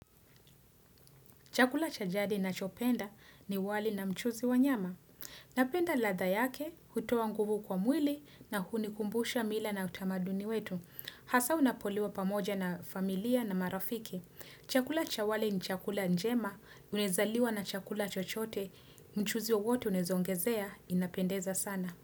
Chakula cha jadi nachopenda ni wali na mchuzi wanyama. Napenda ladha yake, hutoa nguvu kwa mwili na hunikumbusha mila na utamaduni wetu. Hasa unapoliwa pamoja na familia na marafiki. Chakula cha wali ni chakula njema, unaezaliwa na chakula chochote, mchuzi wote unaezaongezea, inapendeza sana.